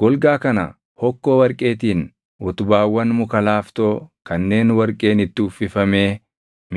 Golgaa kana hokkoo warqeetiin utubaawwan muka laaftoo kanneen warqeen itti uffifamee